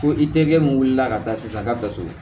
Ko i terikɛ mun wulila ka taa sisan n ka baso